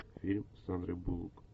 фильм с сандрой буллок